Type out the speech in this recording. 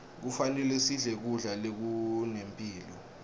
kufanele sidle kudla lokunemphilo